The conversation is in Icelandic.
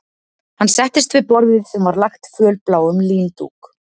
Hann settist við borðið sem var lagt fölbláum líndúk